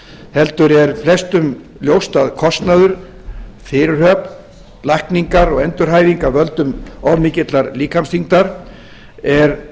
heldur er flestum ljóst að kostnaður fyrirhöfn lækningar og endurhæfing af völdum of mikillar líkamsþyngdar er